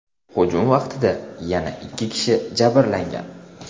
Hujum vaqtida yana ikki kishi jabrlangan.